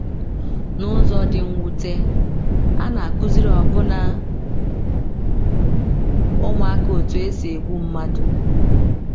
N’ụzọ dị mwute, a na - akụziri ọbụna ụmụaka otú e si egbu mmadụ.